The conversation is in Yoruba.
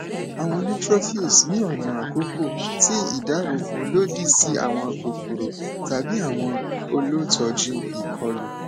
awọn neutrophils ni ọna akọkọ ti idaabobo lodi si awọn kokoro tabi awọn olutọju ikolu